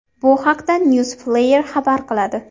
Bu haqda Newsflare xabar qiladi .